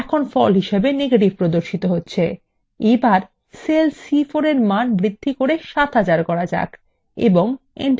এখন cell c4 এর মান বৃদ্ধি করে ৭০০০ করুন এবং enter key টিপুন